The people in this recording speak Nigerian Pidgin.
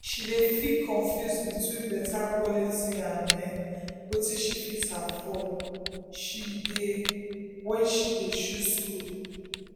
she dey feel confuse between better quality and um wetin she fit afford when she dey um choose school.